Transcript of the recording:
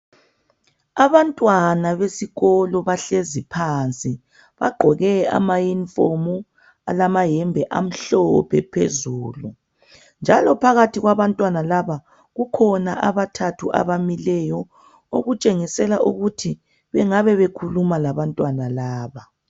Abantwana besikolo bahlezi phansi, bagqoke amayunifomu alamahembe amhlophe phezulu. Njalo phakathi kwabantwana laba kukhona abathathu abamileyo okutshengisela ukuthi bengabe bekhuluma labantwana laba.